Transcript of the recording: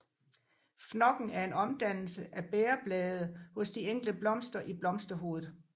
Fnokken er en omdannelse af bægerbladene hos de enkelte blomster i blomsterhovedet